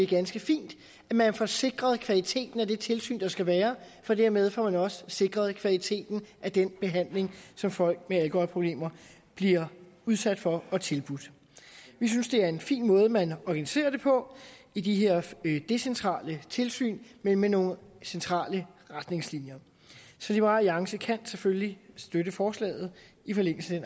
ganske fint at man får sikret kvaliteten af det tilsyn der skal være for dermed får man jo også sikret kvaliteten af den behandling som folk med alkoholproblemer bliver udsat for og tilbudt vi synes det er en fin måde man organiserer det på i de her decentrale tilsyn men med nogle centrale retningslinjer så liberal alliance kan selvfølgelig støtte forslaget i forlængelse